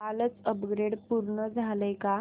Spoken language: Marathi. कालचं अपग्रेड पूर्ण झालंय का